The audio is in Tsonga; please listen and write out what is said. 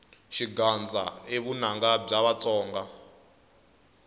xigandza i vunanga bya vatsonga